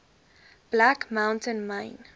black mountain myn